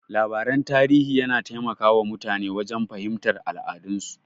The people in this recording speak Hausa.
Labaran tarihi yana taimaka wa mutane wajen fahimtar al'adun su.